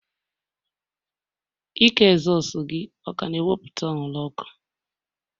Ike ezosu gị ọ ka na-ewepụta anwụrụ ọkụ?